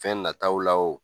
Fɛn nataw la